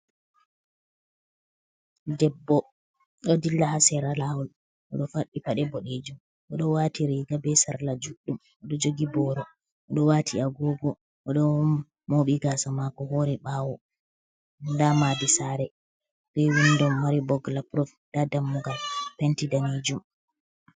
Ɗebbo ɗo dilla ha sera lawol, oɗo faɗɗi paɗe boɗejum oɗo wati riga be sarla juɗɗum, oɗo jogi boro oɗo wati agogo, oɗo moɓi gasa mako hori ɓawo, nda madi sare be windo mari bogla prov, nda dammugal penti ɗanejum.